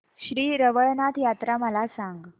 श्री रवळनाथ यात्रा मला सांग